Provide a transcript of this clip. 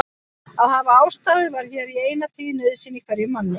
Að hafa ástæðu var hér í eina tíð nauðsyn hverjum manni.